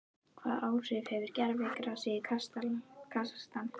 Hvaða áhrif hefur gervigrasið í Kasakstan?